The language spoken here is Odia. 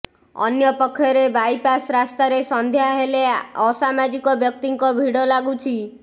ଅନ୍ୟପକ୍ଷରେ ବାଇପାସ୍ ରାସ୍ତାରେ ସଂଧ୍ୟା ହେଲେ ଅସାମାଜିକ ବ୍ୟକ୍ତିଙ୍କ ଭିଡ଼ ଲାଗୁଛି